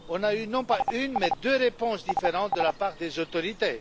Nous avons eu, non pas une, mais deux réponses différentes de la part des autorités.